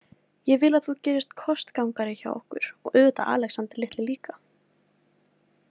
Ég vil að þú gerist kostgangari hjá okkur, og auðvitað Alexander litli líka.